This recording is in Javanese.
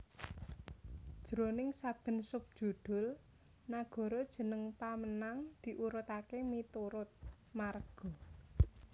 Jroning saben subjudhul nagara jeneng pamenang diurutaké miturut marga